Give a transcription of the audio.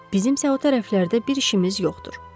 Bizim isə o tərəflərdə bir işimiz yoxdur.